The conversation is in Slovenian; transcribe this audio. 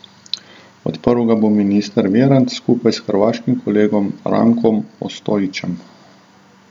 Odprl ga bo minister Virant skupaj s hrvaškim kolegom Rankom Ostojićem.